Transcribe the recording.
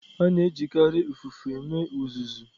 A na-ejikarị ụfụfụ eme uzuzu.